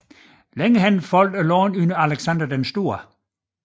Senere faldt landet under Alexander den Store